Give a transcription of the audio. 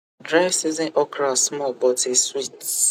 dry season okra small but e sweet